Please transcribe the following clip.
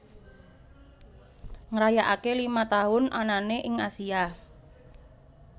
ngrayakake lima tahun anane ing Asia